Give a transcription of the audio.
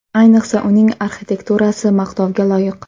Ayniqsa, uning arxitekturasi maqtovga loyiq.